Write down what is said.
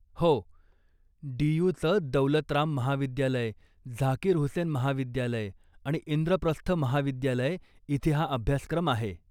हो, डी.यु.चं दौलत राम महाविद्यालय, झाकीर हुसैन महाविद्यालय आणि इंद्रप्रस्थ महाविद्यालय इथे हा अभ्यासक्रम आहे.